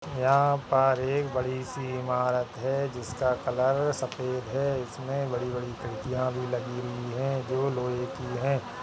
यहाँ पर एक बड़ी सी इमारत है जिसका कलर सफेद है इसमें बड़ी-बड़ी खिड़कियां भी लगी हुई हैं जो लोहे की हैं।